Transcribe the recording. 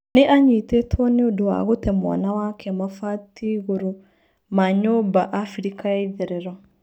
Nĩ anyitĩtwo nĩũndũwa gũte mwana wake mabati igũrũma nyũmba Abirica ya itherero.